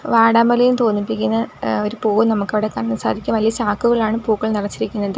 വാടാമല്ലി എന്ന് തോന്നിപ്പിക്കുന്ന എഹ് ഒരു പൂവ് നമുക്ക് അവിടെ കാണാൻ സാധിക്കും വലിയ ചാക്കുകൾ ആണ് പൂക്കൾ നിറച്ചിരിക്കുന്നത്.